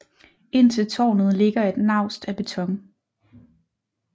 Ind til tårnet ligger et naust af beton